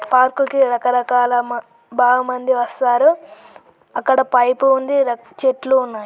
Park కి రకరకాల మ బాగ మంది వస్తారు. అక్కడ పైప్ ఉంది. చెట్లు ఉన్నాయ్.